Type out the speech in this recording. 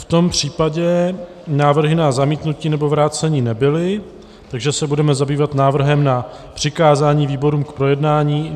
V tom případě návrhy na zamítnutí nebo vrácení nebyly, takže se budeme zabývat návrhem na přikázání výborům k projednání.